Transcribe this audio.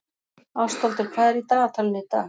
Ástvaldur, hvað er í dagatalinu í dag?